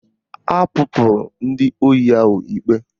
Akpụpụrụ ndị ohi ahụ ikpe